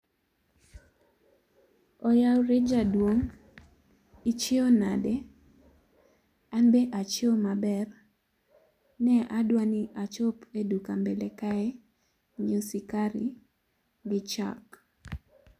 oyaore jaduong, ichieo nade, an be achieo maber. ne adwa ni achop e duka mbele kae nyiewo sukari gi chak